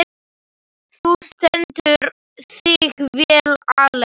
Þú stendur þig vel, Ellen!